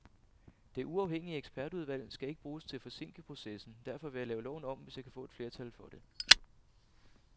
Det uafhængige ekspertudvalg skal ikke bruges til at forsinke processen, derfor vil jeg lave loven om, hvis jeg kan få et flertal for det.